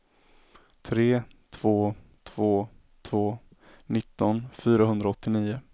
tre två två två nitton fyrahundraåttionio